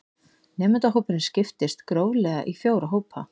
Nemendahópurinn skiptist gróflega í fjóra hópa